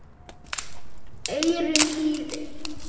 eyrum hlýðir